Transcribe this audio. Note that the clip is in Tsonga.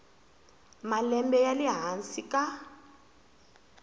malembe ya le hansi ka